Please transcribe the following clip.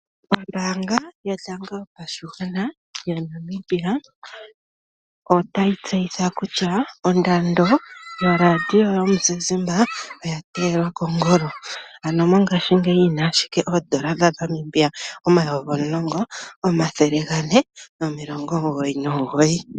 Ombaanga yotango yopashigwana yaNamibia otayi tseyitha kutya ondando yoRadio yomuzizimba oya teyelwa kongolo. Ano mongashingeyi yina ashike oondola dhaNamibia omayovi omulongo, omathele gane nomilongo omugoyi nomugoyi.